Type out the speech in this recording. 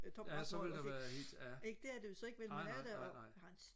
ja så ville der være helt ja nej nej nej nej